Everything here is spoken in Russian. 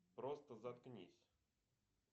просто заткнись